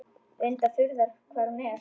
Reyndar furða hvað hún er.